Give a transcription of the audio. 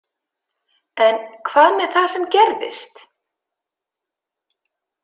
En hvað með það sem gerðist?